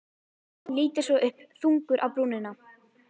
Lítur svo upp, þungur á brúnina.